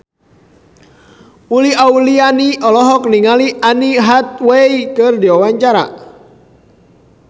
Uli Auliani olohok ningali Anne Hathaway keur diwawancara